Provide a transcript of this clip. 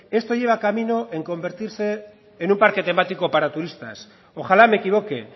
esto lleva camino en convertirse en un parque temático para turistas ojalá me equivoque